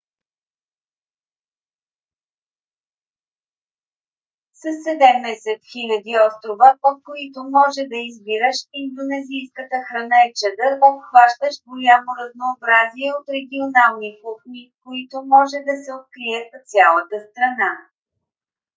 със 17 000 острова от които може да избираш индонезийската храна е чадър обхващащ голямо разнообразие от регионални кухни които може да се открият в цялата страна